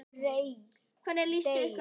Hvernig líst ykkur á það?